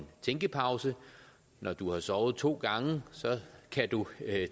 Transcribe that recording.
tænkepause når du har sovet to gange kan du